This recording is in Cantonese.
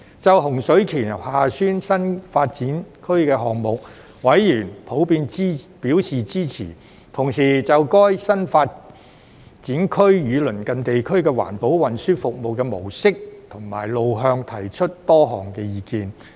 就洪水橋/厦村新發展區項目，委員普遍表示支持，同時就該新發展區與鄰近地區的環保運輸服務模式和路向提出多項意見。